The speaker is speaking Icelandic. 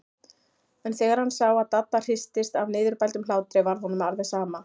En þegar hann sá að Dadda hristist af niðurbældum hlátri varð honum alveg sama.